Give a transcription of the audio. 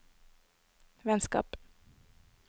vennskap